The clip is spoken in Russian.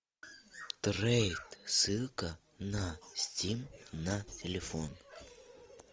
трейд ссылка на стим на телефон